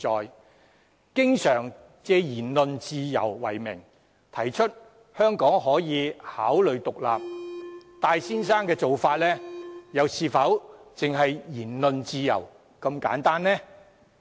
如果經常借言論自由為名，提出香港可以考慮獨立，戴先生的做法又是否單純涉及言論自由呢？